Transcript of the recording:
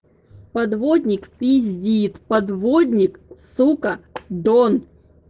подводник пиздит подводник сука дон